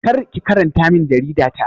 Kar ki karanta min jarida ta!